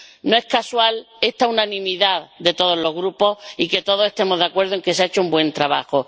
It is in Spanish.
No es casual esta unanimidad de todos los grupos y que todos estemos de acuerdo en que se ha hecho un buen trabajo.